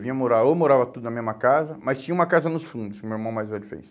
Vinha morar, ou morava tudo na mesma casa, mas tinha uma casa nos fundos, que meu irmão mais velho fez.